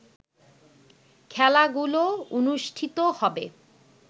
খেলাগুলো অনুষ্ঠিত হবে